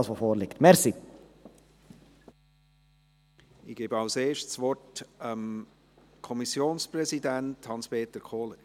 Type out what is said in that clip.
Als Erstes gebe ich das Wort dem Kommissionspräsidenten Hans-Peter Kohler.